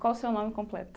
Qual o seu nome completo?